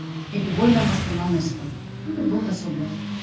әйтеуір ойланбастан алмайсыз ғой енді бұл да сондай